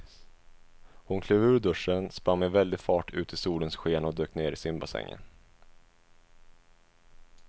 Hon klev ur duschen, sprang med väldig fart ut i solens sken och dök ner i simbassängen.